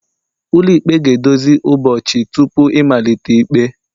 ụlọikpe ga-edozi ụbọchị tupu ịmalite ikpe